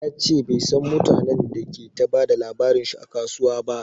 Yace bai San mutanen da ke ta bada labarin shi a kasuwa ba